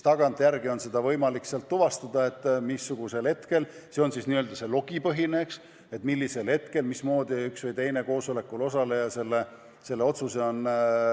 Tagantjärele on seda võimalik tuvastada – see on siis n-ö logipõhine –, mis hetkel ja mismoodi üks või teine koosolekul osaleja oma otsuse tegi.